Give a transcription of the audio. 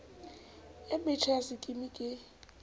e metjha ya sekimi ke